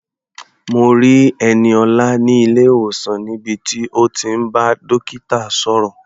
Mo rí Ẹniọlá ní ilé-ìwòsàn níbi tí ó ti ń bá dókítà sọ̀rọ̀.